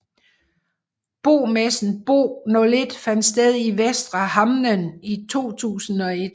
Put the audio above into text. Bomessen Bo01 fandt sted i Västra Hamnen 2001